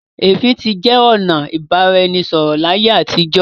ẹfin tí jẹ ọnà ibaraẹnisọrọ l'aiye àtijọ.